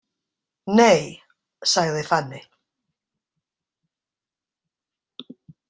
Nei, sagði Fanney.